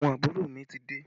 Àwọn àbúrò mi ti dé